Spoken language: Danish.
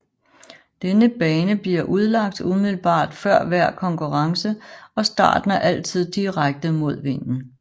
Denne bane bliver udlagt umiddelbar før hver konkurrence og starten er altid direkte mod vinden